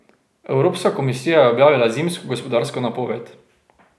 Evropska komisija je objavila zimsko gospodarsko napoved.